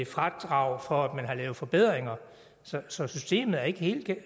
fradrag for at man har lavet forbedringer så så systemet er ikke